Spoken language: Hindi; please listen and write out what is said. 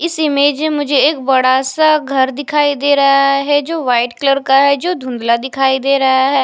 इस इमेज में कुछ एक बड़ा सा घर दिखाई दे रहा है जो वाइट कलर का है जो धुंधला दिखाई दे रहा है।